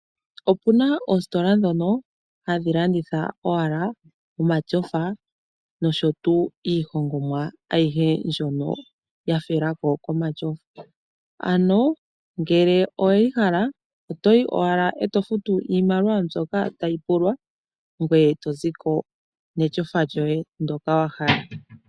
Okuna oositola dhono hadhi landitha owala omashofa nosho tuu iihongomwa ayihe mbyono ya felako komashofa. Ano ngele oweyi hala otoyi owala e to futu iimaliwa mbyoka tayi pulwa, ngoye to zi ko meshofa lyoye ndoka wa hala.